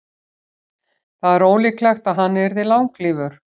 Það er ólíklegt að hann yrði langlífur.